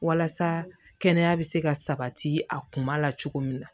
Walasa kɛnɛya bɛ se ka sabati a kuma la cogo min na